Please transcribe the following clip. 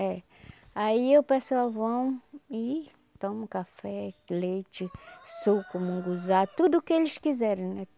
É. Aí o pessoal vão e toma um café, leite, suco, munguzá, tudo que eles quiserem, né?